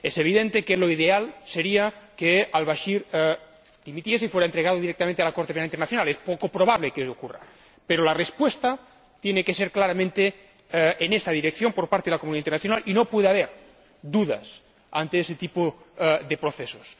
Es evidente que lo ideal sería que al Bachir dimitiese y fuera entregado directamente a la Corte Penal Internacional. Es poco probable que esto ocurra, pero la respuesta tiene que ser claramente en esta dirección por parte de la comunidad internacional y no puede haber dudas ante este tipo de procesos.